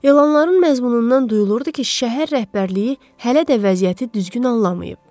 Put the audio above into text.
Elanların məzmunundan duyulurdu ki, şəhər rəhbərliyi hələ də vəziyyəti düzgün anlamayıb.